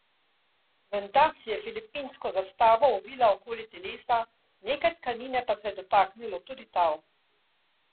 Menda si je filipinsko zastavo ovila okoli telesa, nekaj tkanine pa se je dotaknilo tudi tal.